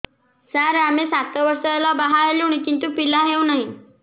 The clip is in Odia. ସାର ଆମେ ସାତ ବର୍ଷ ହେଲା ବାହା ହେଲୁଣି କିନ୍ତୁ ପିଲା ହେଉନାହିଁ